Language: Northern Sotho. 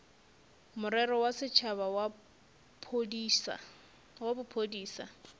morero wa setšhaba wa bophodisa